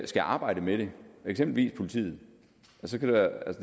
skal arbejde med det eksempelvis politiet